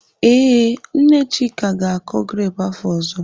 Ee, Nne Chika ga-akọ grepụ afọ ọzọ.